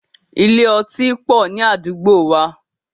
Ilé otí pọ̀ ní àdúgbò wa.